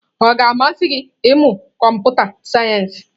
Ọ ga-amasị gị ịmụ kọmputa sayensị?